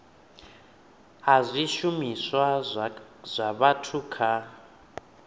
a zwishumiswa zwa vhathu kha